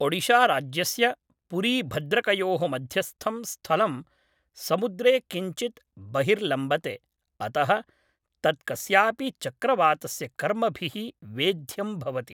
ओडिशाराज्यस्य पुरीभद्रकयोः मध्यस्थं स्थलं समुद्रे किञ्चित् बहिर्लम्बते, अतः तत् कस्यापि चक्रवातस्य कर्मभिः वेध्यं भवति।